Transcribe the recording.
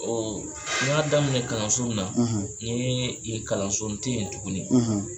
N y'a daminɛ kalan surunin na, kalan surunin tɛ yen tuguni.